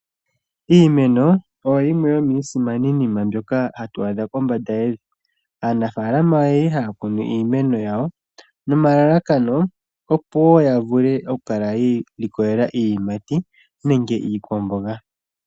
Iimeno oyo yimwe yomiisimaninima mbyoka hatu adha kombanda yevi. Aanafalama ohaya kunu iinima yawo nomalalako opo yi ilikolele iiyimati nenge iikwamboga.